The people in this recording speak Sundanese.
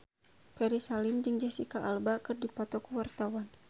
Ferry Salim jeung Jesicca Alba keur dipoto ku wartawan